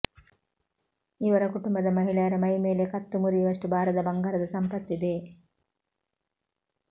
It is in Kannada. ಇವರ ಕುಟುಂಬದ ಮಹಿಳೆಯರ ಮೈಮೇಲೆ ಕತ್ತು ಮುರಿಯುವಷ್ಟು ಭಾರದ ಬಂಗಾರದ ಸಂಪತ್ತಿದೆ